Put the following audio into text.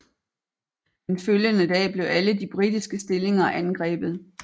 Den følgende dag blev alle de britiske stillinger angrebet